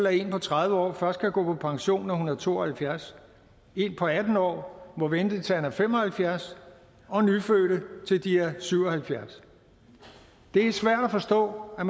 at en på tredive år først kan gå på pension når hun er to og halvfjerds en på atten år må vente til han er fem og halvfjerds og nyfødte til de er syv og halvfjerds det er svært at forstå at